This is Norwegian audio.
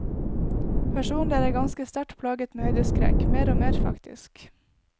Personlig er jeg ganske sterkt plaget med høydeskrekk, mer og mer faktisk.